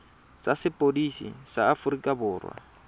tsa sepodisi sa aforika borwa